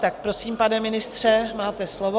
Tak prosím, pane ministře, máte slovo.